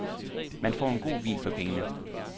Man får en god vin for pengene.